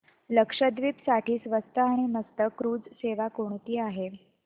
लक्षद्वीप साठी स्वस्त आणि मस्त क्रुझ सेवा कोणती आहे